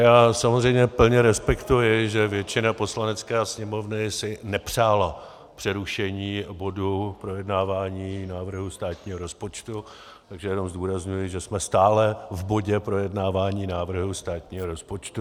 Já samozřejmě plně respektuji, že většina Poslanecké sněmovny si nepřála přerušení bodu projednávání návrhu státního rozpočtu, takže jenom zdůrazňuji, že jsme stále v bodě projednávání návrhu státního rozpočtu.